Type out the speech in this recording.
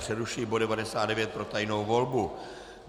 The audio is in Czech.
Přerušuji bod 99 pro tajnou volbu.